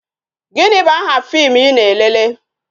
Gịnị bụ aha fim I na-elele?